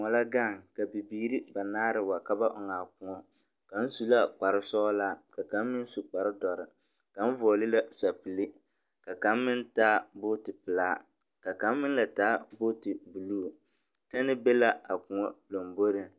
Baa la gaŋ ka bibiiri banaare wa ka ba ɔŋaa kõɔ. Kaŋ su la kpar-sɔɔlaa ka kaŋ meŋ su kpar-dɔre. Kaŋ vɔgele sapili, ka kaŋ meŋ taa bootipelaa, ka kaŋ meŋ taa bootipelaa, ka kaŋ meŋ la taa booti buluu, tɛne be la a kõɔ lomboriŋ.